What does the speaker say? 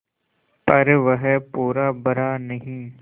पर वह पूरा भरा नहीं